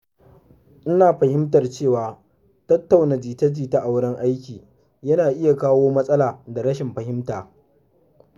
Ina fahimtar cewa tattauna jita-jita a wurin aiki yana iya kawo matsala da rashin fahimta.